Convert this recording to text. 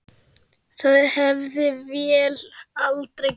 Það hefði vél aldrei gert.